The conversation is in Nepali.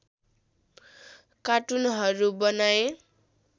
कार्टुनहरू बनाए